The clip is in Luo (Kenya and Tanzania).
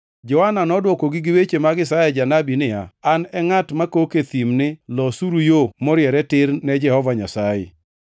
Johana nodwokogi gi weche mag Isaya Janabi niya, “An e ngʼat makok e thim ni, ‘Losuru yo moriere tir ne Jehova Nyasaye.’ ”+ 1:23 \+xt Isa 40:3\+xt*